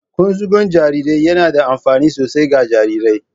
Ƙunzugun jarirai yana da amfani sosai ga jarirai